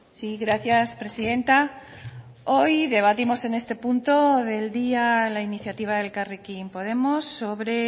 sí gracias presidenta hoy debatimos en este punto del día la iniciativa de elkarrekin podemos sobre